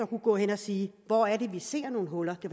kunne gå hen og sige hvor er det vi ser nogle huller det